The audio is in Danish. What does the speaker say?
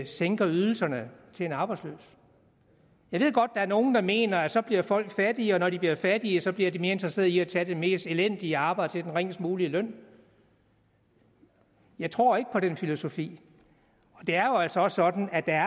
sænker ydelserne til en arbejdsløs jeg ved godt er nogle der mener at så bliver folk fattigere og når de bliver fattige bliver de mere interesserede i at tage det mest elendige arbejde til den ringest mulige løn jeg tror ikke på den filosofi og det er altså også sådan at der